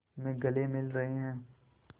में गले मिल रहे हैं